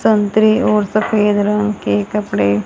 संतरे और सफेद रंग के कपड़े--